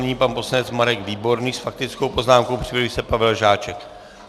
Nyní pan poslanec Marek Výborný s faktickou poznámkou, připraví se Pavel Žáček.